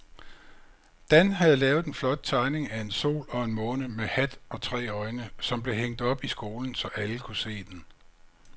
Dan havde lavet en flot tegning af en sol og en måne med hat og tre øjne, som blev hængt op i skolen, så alle kunne se den.